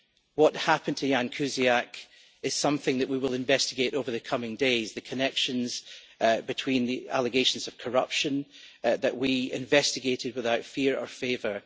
What happened to Ján Kuciak is something that we will investigate over the coming days the connections between the allegations of corruption that we investigated without fear or favour.